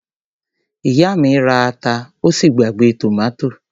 Ìyá mi ra ata ó sì gbàgbé tòmátò.